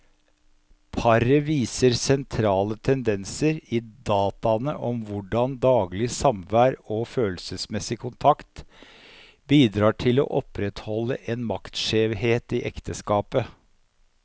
Paret viser sentrale tendenser i dataene om hvordan daglig samvær og følelsesmessig kontakt bidrar til å opprettholde en maktskjevhet i ekteskapet.